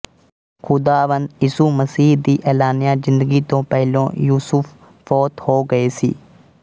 ਖ਼ੁਦਾਵੰਦ ਯਿਸੂ ਮਸੀਹ ਦੀ ਐਲਾਨਿਆ ਜ਼ਿੰਦਗੀ ਤੋਂ ਪਹਿਲੋਂ ਯੂਸੁਫ਼ ਫ਼ੌਤ ਹੋਗਏ ਸੀ